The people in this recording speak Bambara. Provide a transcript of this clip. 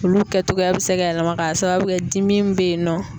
Olu kɛ togoya bɛ se ka yɛlɛma k'a sababu kɛ dimi min bɛ yen nɔ